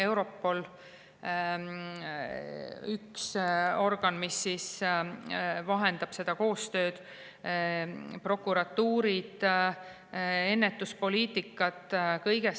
Europol on üks organ, mis vahendab seda koostööd, on prokuratuurid, ennetuspoliitika.